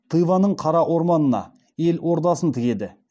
тываның қара орманына ел ордасын тігеді